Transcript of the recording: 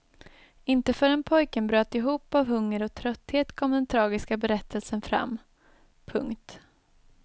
Inte förrän pojken bröt ihop av hunger och trötthet kom den tragiska berättelsen fram. punkt